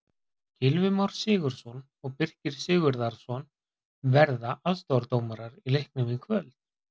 Gylfi Már Sigurðsson og Birkir Sigurðarson verða aðstoðardómarar í leiknum í kvöld.